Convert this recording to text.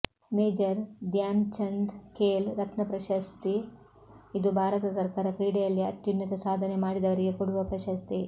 major Dhyanchand Khel Ratna ಪ್ರಶಸ್ತಿ ಇದು ಭಾರತ ಸರ್ಕಾರ ಕ್ರೀಡೆಯಲ್ಲಿ ಅತ್ಯುನ್ನತ ಸಾಧನೆ ಮಾಡಿದವರಿಗೆ ಕೊಡುವ ಪ್ರಶಸ್ತಿ